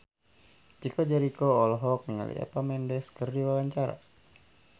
Chico Jericho olohok ningali Eva Mendes keur diwawancara